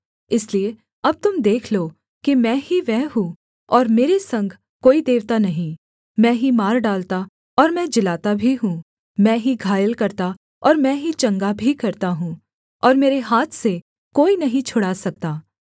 इसलिए अब तुम देख लो कि मैं ही वह हूँ और मेरे संग कोई देवता नहीं मैं ही मार डालता और मैं जिलाता भी हूँ मैं ही घायल करता और मैं ही चंगा भी करता हूँ और मेरे हाथ से कोई नहीं छुड़ा सकता